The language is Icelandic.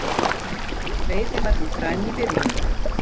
Veiðin var því dræm í byrjun